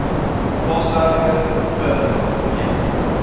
plaaswerker per week